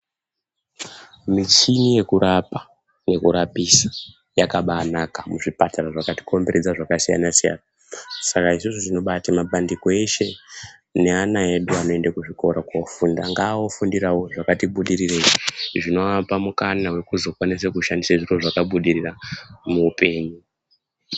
Michini yekurapa yekurapisa yakabaanaka muzvipatara zvakatikomberedza zvakasiyana siyana saka izvozvo zvinobate mapandiko eshe neana edu anoende kuzvikora koofunda ngaaofundirawo zvakati budirireyi zvinoapa mukana wekuti azokwanisa kushandisa zvakabudirira muupenyu.